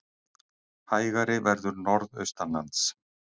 Hægari verður norðaustanlands